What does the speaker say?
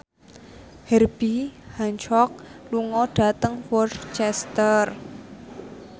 Herbie Hancock lunga dhateng Worcester